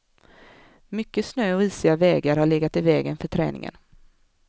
Mycket snö och isiga vägar har legat i vägen för träningen.